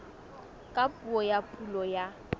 ka puo ya pulo ya